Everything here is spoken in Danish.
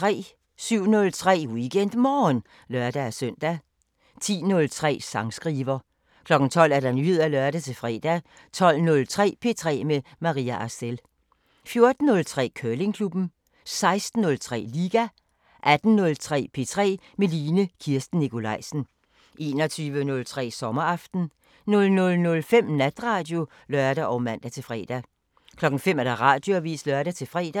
07:03: WeekendMorgen (lør-søn) 10:03: Sangskriver 12:00: Nyheder (lør-fre) 12:03: P3 med Maria Arcel 14:03: Curlingklubben 16:03: Liga 18:03: P3 med Line Kirsten Nikolajsen 21:03: Sommeraften 00:05: Natradio (lør og man-fre) 05:00: Radioavisen (lør-fre)